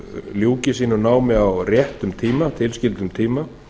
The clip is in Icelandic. ljúki sínu námi á réttum tíma tilskildum tíma